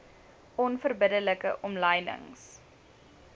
onverbidde like omlynings